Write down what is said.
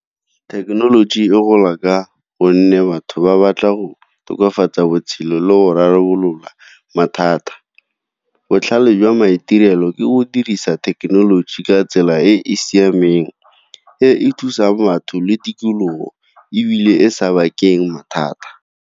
Thekenoloji e gola ka gonne batho ba batla go tokafatsa botshelo le go rarabolola mathata. Botlhale jwa maitirelo ke go dirisa thekenoloji ka tsela e e siameng e e thusa batho le tikologo ebile e sa bakeng mathata.